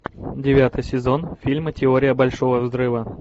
девятый сезон фильма теория большого взрыва